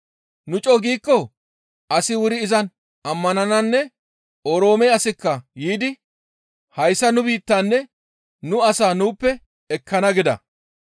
Nu co7u giikko asi wuri izan ammanananne Oroome asikka yiidi hayssa nu biittanne nu asaa nuuppe ekkana» gida.